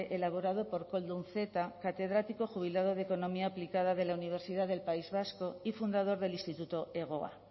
elaborado por koldo unceta catedrático jubilado de economía aplicada de la universidad del país vasco y fundador del instituto hegoa